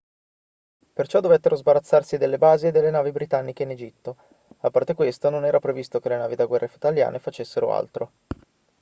perciò dovettero sbarazzarsi delle basi e delle navi britanniche in egitto a parte questo non era previsto che le navi da guerra italiane facessero altro